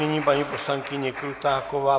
Nyní paní poslankyně Krutáková.